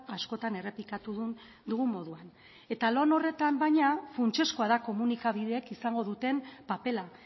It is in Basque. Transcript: askotan errepikatu dugun moduan eta lan horretan baina funtsezkoa da komunikabideek izango duten papera